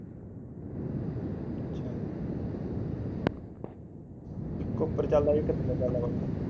ਇੱਕ ਉਪਰ ਚੱਲਦਾ ਇੱਕ ਥੱਲੇ ਚੱਲਦਾ ਪੱਖਾ